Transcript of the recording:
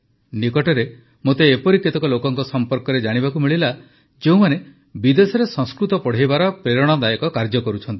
ନିକଟରେ ମୋତେ ଏପରି କେତେକ ଲୋକଙ୍କ ସଂପର୍କରେ ଜାଣିବାକୁ ମିଳିଲା ଯେଉଁମାନେ ବିଦେଶରେ ସଂସ୍କୃତ ପଢ଼ାଇବାର ପ୍ରେରଣାଦାୟକ କାର୍ଯ୍ୟ କରୁଛନ୍ତି